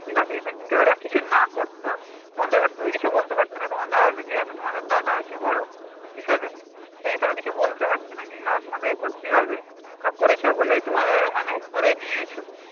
করলে ঠিক আছে কিন্তু যদি ওরা কিছু না করতো তখন তুমি তো কিছু বলতে পারতে না তোমাদের যেহেতু তোমাদের দাদা হচ্ছে বড় হিসাবে সেই হিসাবে কিছু বলতে পারতে না যে না তোমাদেরকে করতে হবে ওরা করেছে বলেই তোমাদের মানে করে নিয়েছো তোমরা